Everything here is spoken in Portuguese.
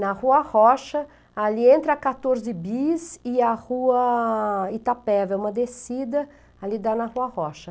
Na Rua Rocha, ali entre a quatorze Bis e a Rua Itapeva, é uma descida ali da Rua Rocha.